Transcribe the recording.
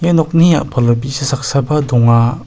nokni a·palo bi·sa saksaba donga.